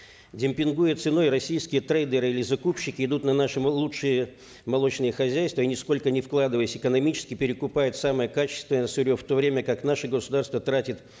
демпингуя ценой российские трейдеры или закупщики идут на наши лучшие молочные хозяйства и нисколько не вкладываясь экономически перекупают самое качественное сырье в то время как наше государство тратит